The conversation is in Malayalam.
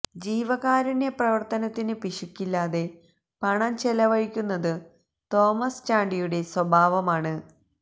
ജീവകാരുണ്യ പ്രവർത്തനത്തിനു പിശുക്കില്ലാതെ പണം ചെലവഴിക്കുന്നതു തോമസ് ചാണ്ടിയുടെ സ്വഭാവമാണ്